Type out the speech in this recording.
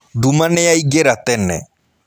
Nduma nĩyaingĩra tene.